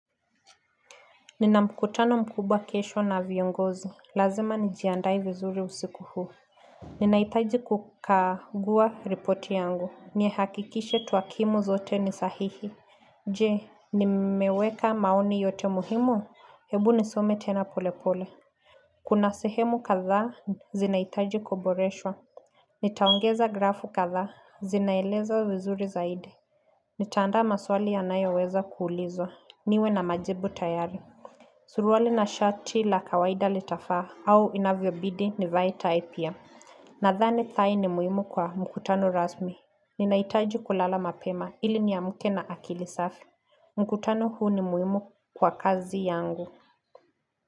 Nina mkutano mkubwa kesho na viongozi. Lazima nijiandae vizuri usiku huu. Ninahitaji kukagua ripoti yangu. Nihakikishe twakimu zote nisahihi. Je, nimeweka maoni yote muhimu. Hebu nisome tena pole pole. Kuna sehemu kathaa, zinahitaji kuboreswha. Nitaongeza grafu kathaa, zinaeleza vizuri zaidi. Nitaandaa maswali yanayo weza kuulizwa. Niwe na majibu tayari. Suruali na shati la kawaida litafaa au inavyobidi nivae tai pia Nathani tai ni muhimu kwa mkutano rasmi Ninaitaji kulala mapema ili niamuke na akili safi mkutano huu ni muhimu kwa kazi yangu.